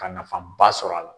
Ka nafanba sɔrɔ a la.